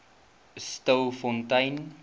stilfontein